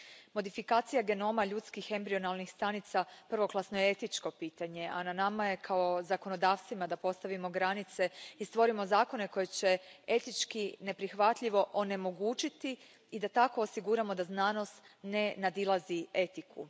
Modifikacija genoma ljudskih embrionalnih stanica prvoklasno je etičko pitanje, a na nama je, kao zakonodavcima, da postavimo granice i stvorimo zakone koji će etički neprihvatljivo onemogućiti i da tako osiguramo da znanost ne nadilazi etiku.